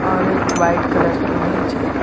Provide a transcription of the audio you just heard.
और एक white colour की मेज है।